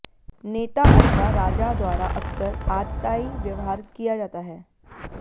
नेता अथवा राजा द्वारा अक्सर आततायी व्यवहार किया जाता है